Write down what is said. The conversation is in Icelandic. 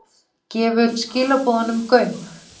Leggðu þig svo aftur þegar þig syfjar á ný.